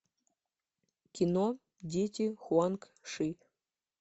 кино дети хуанг ши